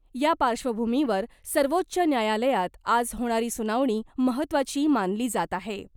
या पार्श्वभूमीवर सर्वोच्च न्यायालयात आज होणारी सुनावणी महत्त्वाची मानली जात आहे .